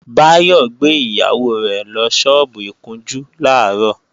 Báyọ̀ gbé ìyàwó rẹ̀ lọ sọ́ọ́bù ìkunjú làárọ̀